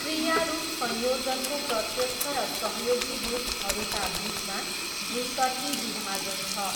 क्रियारूप संयोजनको प्रत्यक्ष र सहयोगी रूपहरूका बिचमा दुईतर्फी विभाजन छ।